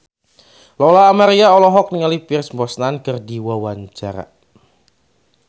Lola Amaria olohok ningali Pierce Brosnan keur diwawancara